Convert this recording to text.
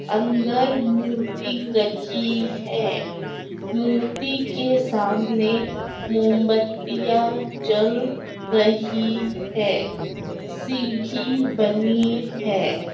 अंदर मूर्ति रखी है मूर्ति के सामने मोमबत्तियाँ जल रही हैं सीढ़ी बनी है।